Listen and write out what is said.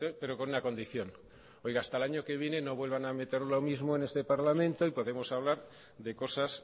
pero con una condición hasta el año que viene no vuelvan a meter lo mismo en este parlamento y podremos hablar de cosas